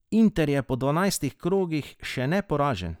Inter je po dvanajstih krogih še neporažen.